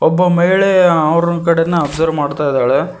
ಒಬ್ಬ ಮಹಿಳೆ ಅವ್ರನ್ ಕಡೆನೇ ಅಬ್ಸರ್ವ್ ಮಾಡ್ತಾ ಇದ್ದಾಳೆ.